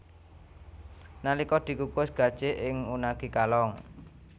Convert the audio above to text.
Nalika dikukus gajih ing unagi kalong